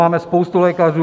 Máme spoustu lékařů.